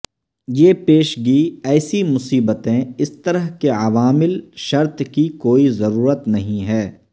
یہ پیشگی ایسی مصیبتیں اس طرح کے عوامل شرط کی کوئی ضرورت نہیں ہے